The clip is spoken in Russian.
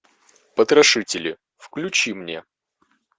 потрошители включи мне